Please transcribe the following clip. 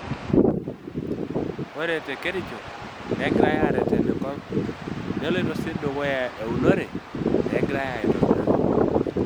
Ore te Kericho, negirai aareten enkop neloito sii dukuya eunore negira aitobirari.